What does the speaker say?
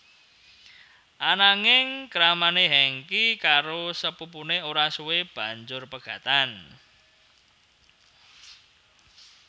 Ananging kramané Hengky karo sepupuné ora suwe banjur pegatan